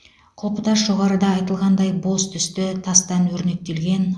құлпытас жоғарыда айтылғандай боз түсті тастан өрнектелген